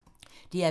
DR P2